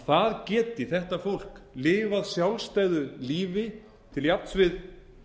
það geti þetta fólk lifað sjálfstæðu lífi til jafns við